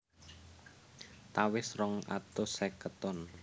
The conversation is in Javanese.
Tawes rong atus seket ton